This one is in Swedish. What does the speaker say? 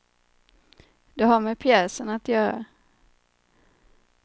Det har med pjäsen att göra.